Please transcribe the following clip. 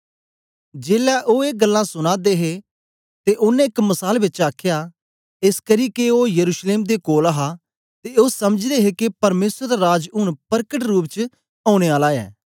जेलै ओ ए गल्लां सुना दे हे ते ओनें एक मसाल बेच आखया एसकरी के ओ यरूशलेम दे कोल हा ते ओ समझदे हे के परमेसर दा राज ऊन परकट रूप च औने आला ऐ